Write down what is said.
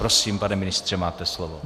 Prosím pane ministře, máte slovo.